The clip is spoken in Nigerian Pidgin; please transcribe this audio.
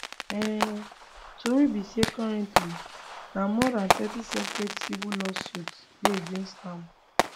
um tori be say currently na more dan thirty separate civil lawsuits dey against am